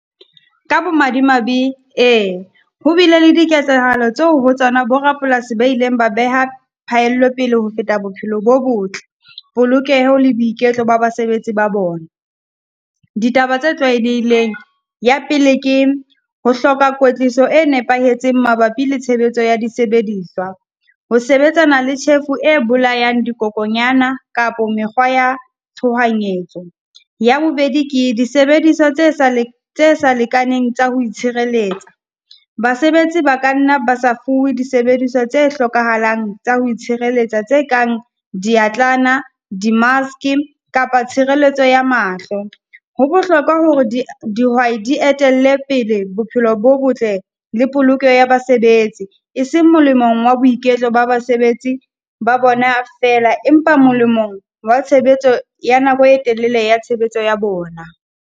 Ka bomadimabe ee, ho bile le diketsahalo tseo ho tsona bo rapolasi ba ileng ba beha phaello pele ho feta bophelo bo botle, polokeho le boiketlo ba basebetsi ba bona. Ditaba tse tlwaelehileng ya pele ke, ho hloka kwetliso e nepahetseng mabapi le tshebetso ya di sebediswa, ho sebetsana le tjhefu e bolayang dikokonyana kapa mekgwa ya tshohanyetso. Ya bobedi ke disebediswa tse sa tse lekaneng tsa ho itshireletsa. Basebetsi ba ka nna ba sa fuwe disebediswa tse hlokahalang tsa ho itshireletsa tse kang diatlana, di-mask kapa tshireletso ya mahlo. Ho bohlokwa hore di dihwai di etelle pele bophelo bo botle le polokeho ya basebetsi, e seng molemong wa boiketlo ba basebetsi ba bona fela empa molemong wa tshebetso ya nako e telele ya tshebetso ya bona.